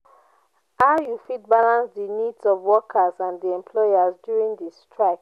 how you fit balance di needs of workers and di employers during di strike?